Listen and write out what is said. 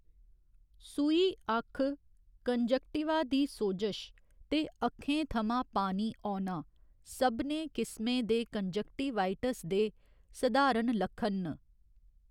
सूही अक्ख, कंजंक्टिवा दी सोजश, ते अक्खें थमां पानी औना सभनें किसमें दे कंजक्टिवाइटिस दे सधारण लक्खन न।